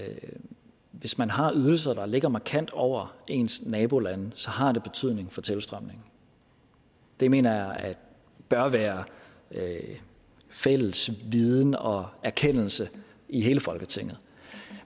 hvis man har ydelser der ligger markant over ens nabolande så har det betydning for tilstrømningen det mener jeg bør være fælles viden og erkendelse i hele folketinget